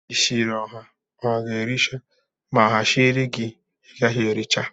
Ishiri oha, oha ga-ēri cha ma oha shiri gi igaghi ericha.